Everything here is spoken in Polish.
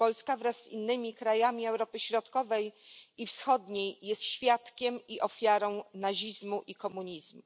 Polska wraz z innymi krajami Europy Środkowej i Wschodniej jest świadkiem i ofiarą nazizmu i komunizmu.